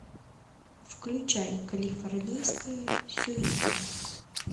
включай калифорнийская сюита